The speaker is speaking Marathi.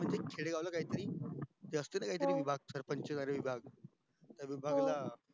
म्हणजे खेडेगाव ला काही तरी जास्त च काही तरी विभाग चा विभाग